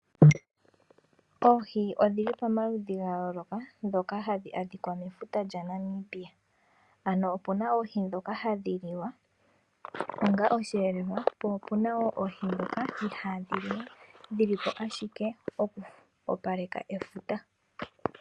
Oohi odhili pomaludhi ga yooloka ndhoka hadhi adhika mefuta lyaNamibia. Opuna oohi ndhoka hadhi liwa onga osheelelwa po opuna oohi ndhoka ihadhi liwa dhilipo ashike oku opaleka efuta.